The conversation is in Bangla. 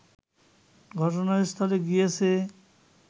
ঘটনাস্থলে গিয়েছে